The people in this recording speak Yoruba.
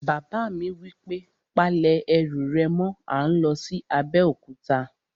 Bàbá mi wí pé, "Pa lẹ̀ ẹrù rẹ̀ mọ́! à ń lọ sí Abéòkúta